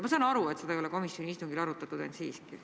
Ma saan aru, et seda ei ole komisjoni istungil arutatud, ent siiski.